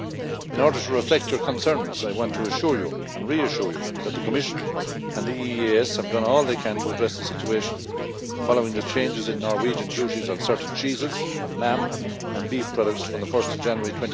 In order to reflect your concerns, I want to assure you and reassure you that the Commission and the EEAS have done all they can to address the situation following the changes in Norwegian duties on certain cheeses, on lamb and beef products, from 1 January